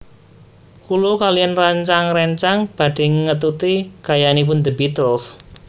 Kula kaliyan rencang rencang badhe ngetuti gayanipun The Beatles